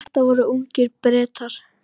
Þetta voru ungir Bretar.